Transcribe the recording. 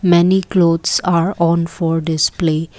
many clothes are on for display.